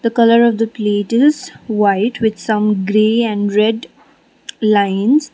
colour of the plate is white with some grey and red lines.